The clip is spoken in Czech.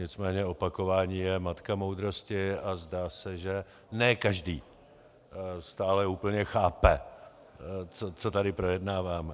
Nicméně opakování je matka moudrosti a zdá se, že ne každý stále úplně chápe, co tady projednáváme.